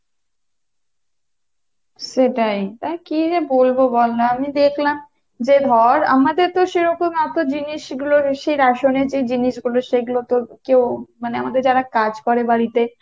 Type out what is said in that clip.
সেটাই, দেখ কী যে বলবো বলনা আমি দেখলাম যে ধর আমাদের তো সেইরকম এতো জিনিস গুলো সেই রেশন এর যে জিনিস গুলো সেগুলোতে কেও মানে আমাদের যারা কাজ করে বাড়িতে